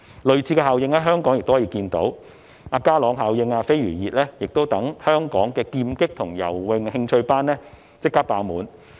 類似的效應亦可以在香港看到，就是"家朗效應"和"飛魚熱"令香港的劍擊和游泳興趣班立即爆滿。